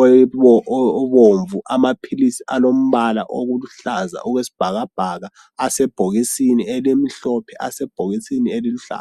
obomvu, amaphilisi alombala oluhlaza okwesibhakabhaka asebhokisini elimhlophe asebhokisini eliluhlaza.